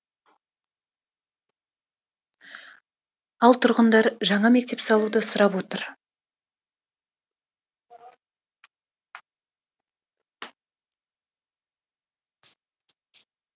ал тұрғындар жаңа мектеп салуды сұрап отыр